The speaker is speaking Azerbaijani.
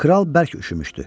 Kral bərk üşümüşdü.